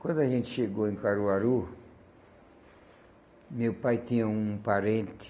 Quando a gente chegou em Caruaru, meu pai tinha um parente.